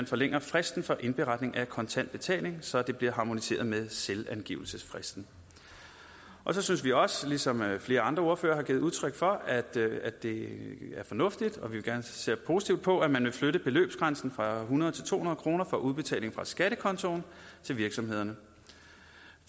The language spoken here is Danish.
forlænge fristen for indberetning af kontantbetaling så det bliver harmoniseret med selvangivelsesfristen så synes vi også som flere andre ordførere har givet udtryk for at det er fornuftigt og vi ser positivt på at man vil flytte beløbsgrænsen fra hundrede til to hundrede kroner for udbetaling fra skattekontoen til virksomhederne